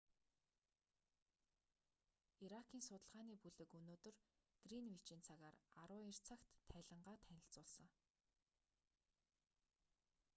иракийн судалгааны бүлэг өнөөдөр гринвичийн цагаар 12:00 цагт тайлангаа танилцуулсан